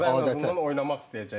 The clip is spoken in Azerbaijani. Ən azından oynamaq istəyəcəklər.